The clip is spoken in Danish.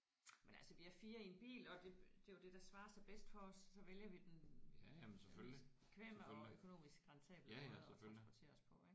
Men altså vi er 4 i en bil og det det er jo det der svarer sig bedst for os og så vælger vi den øh mest bekvemme og økonomisk rentable måde at transportere os på ik